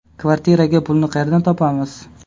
Kvartiraga pulni qayerdan topamiz.